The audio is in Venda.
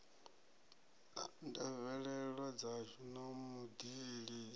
ndavhelelo dzashu na vhud ilisi